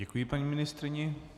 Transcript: Děkuji paní ministryni.